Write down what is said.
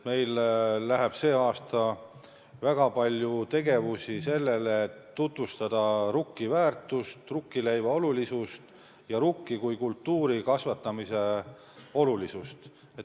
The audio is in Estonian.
Meil tuleb sel aastal väga palju teha selleks, et tutvustada rukki väärtust, rukkileiva olulisust ja rukki kui kultuuri kasvatamise tähtsust.